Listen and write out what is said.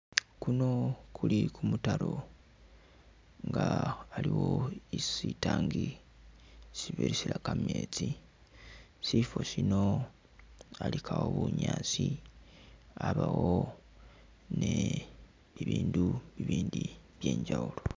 Kuno kuli kumutaro nga aliwo isi sitangi sibirisira kametsi ,sifo sino alikawo bunyaasi abawo ni ibindu ibindi byenjawulo